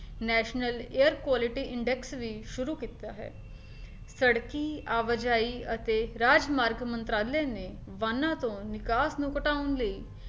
national aerolithic index ਵੀ ਸ਼ੁਰੂ ਕੀਤਾ ਹੈ ਸੜਕੀ, ਆਵਾਜਾਈ ਅਤੇ ਰਾਜ ਮਾਰਗ ਮੰਤਰਾਲੇ ਨੇ ਵਾਹਨਾਂ ਤੋਂ ਨਿਕਾਸ ਨੂੰ ਘਟਾਉਣ ਲਈ